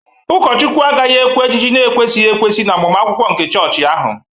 Ụkọchukwu agaghị ekwe ka ejiji na-ekwesịghị ekwesị n'agbamakwụkwọ nke chọọchị ahụ